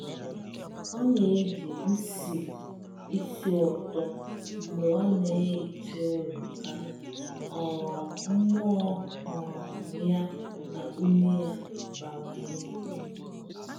Ọ na-eji nsị ísì ụtọ mgbe ọ na-ehicha ụlọ ka um mmụọ um ya na ume ya bawanye.